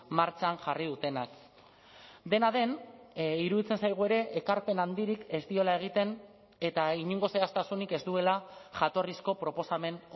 martxan jarri dutenak dena den iruditzen zaigu ere ekarpen handirik ez diola egiten eta inongo zehaztasunik ez duela jatorrizko proposamen